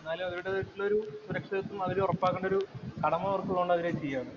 എന്നാലും അവരുടേതായിട്ടുള്ളൊരു സുരക്ഷിതത്വം അവര് ഉറപ്പാക്കേണ്ട ഒരു കടമ അവര്‍ക്കുള്ളത് കൊണ്ട് അത് തന്നെ ചെയ്യുവാണ്.